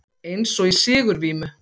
Eins og í sigurvímu.